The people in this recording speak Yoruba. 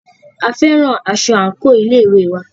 A fẹ́ran aṣọ àńkò ilé ìwé wa